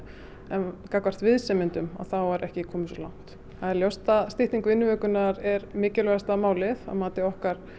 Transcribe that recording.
en gagnvart viðsemjendum þá er ekki komið svo langt það er ljóst að stytting vinnuvikunnar er mikilvægasta málið að mati okkar